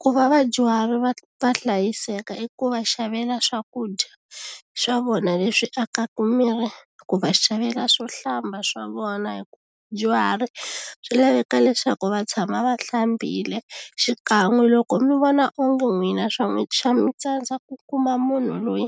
ku va vadyuhari va va hlayiseka i ku va xavela swakudya swa vona leswi akaka miri ku va xavela swo hlamba swa vona hi ku vadyuhari swi laveka leswaku va tshama va hlambile xikan'we loko mi vona onge n'wina swa n'wi swa mi tsandza ku kuma munhu loyi